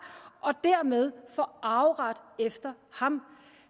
og dermed få arveret efter ham